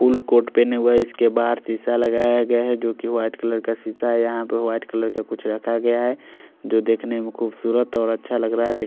उन कोट पहने हुए है इसके बहार दिसा लगाया गया है जो की वाइट कलर का सुता है यहाँ पर वाइट कलर का कुछ रखा गया है जो की देखने में खुबसुरत और अच्छा लग रहा है।